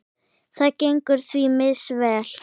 Það gengur því misvel.